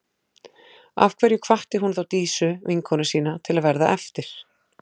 Af hverju hvatti hún þá Dísu, vinkonu sína, til að verða eftir?